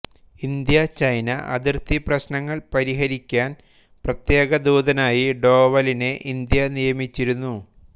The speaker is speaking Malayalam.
ഇന്ത്യചൈന അതിർത്തി പ്രശ്നങ്ങൾ പരിഹരിക്കാൻ പ്രത്യേക ദൂതനായി ഡോവലിനെ ഇന്ത്യ നിയമിച്ചിരുന്നു